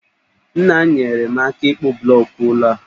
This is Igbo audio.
Nna m nyeere m aka ịkpụ blọọkụ ụlọ a